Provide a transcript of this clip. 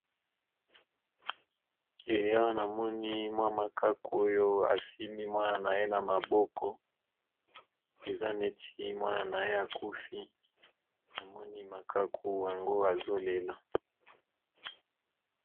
Awa na moni mwa makaku asimbi Mwana naye na maboko eza neti Mwana naye akufi namoni makaku yango azo lela.